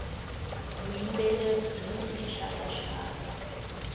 vuyimbeleri byini tinxaka nxaka